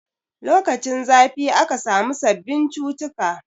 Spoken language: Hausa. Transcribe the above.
Lokacin zafi aka samu sabbin cututtuka